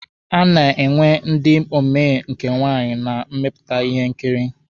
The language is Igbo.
A na-enwe ndị omee nke nwaanyị na mmepụta ihe nkiri.